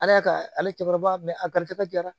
Ala y'a ka ale cɛkɔrɔba a garizɛgɛ jara